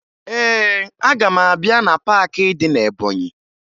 Ee, aga m abịa na paakị dị na Ebọnyị